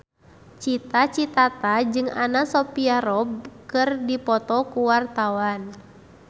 Cita Citata jeung Anna Sophia Robb keur dipoto ku wartawan